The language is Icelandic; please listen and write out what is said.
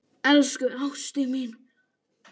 Elsku ástin mín.